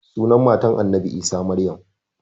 Sunan maman annabi isa maryam